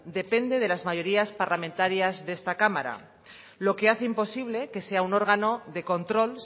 depende de las mayorías parlamentarias de esta cámara lo que hace imposible que sea un órgano de control